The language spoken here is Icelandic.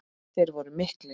Þeir voru miklir.